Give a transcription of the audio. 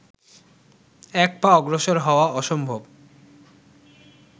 এক পা অগ্রসর হওয়া অসম্ভব